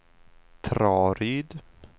Traryd